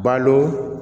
Balo